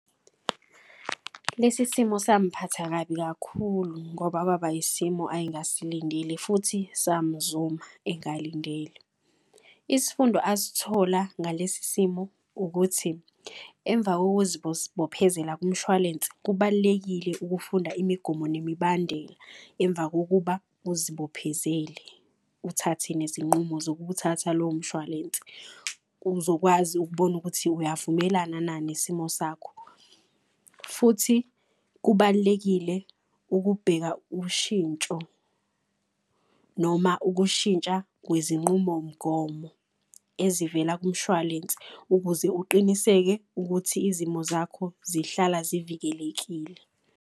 Lesi simo samphatha kabi kakhulu ngoba kwaba isimo ayengasilindile futhi samzuma engalindele. Isifundo asthola ngalesi simo ukuthi emva kumshwalense, kubalulekile ukufunda imigomo nemibandela. Emva kokuba uzibophezele uthathe nezinqumo zokuwuthatha lowo mshwalense. Uzokwazi ukubona ukuthi uyavumelana na nesimo sakho. Futhi kubalulekile ukubheka ushintsho noma ukushintsha kwezinqumomgomo ezivela kumshwalense. Ukuze uqiniseke ukuthi izimo zakho zihlala zivikelekile.